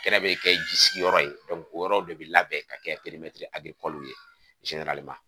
Kɛnɛ bɛ kɛ ji sigiyɔrɔ ye o yɔrɔ de bɛ labɛn ka kɛ ye